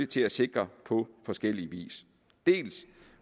til at sikre på forskellig vis dels